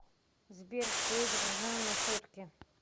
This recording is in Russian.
сбер что изображено на сотке